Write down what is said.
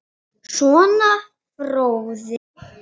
Sonur: Fróði.